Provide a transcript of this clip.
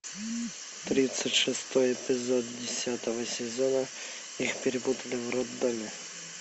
тридцать шестой эпизод десятого сезона их перепутали в роддоме